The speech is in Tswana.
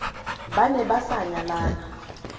ba ne ba sa nyalana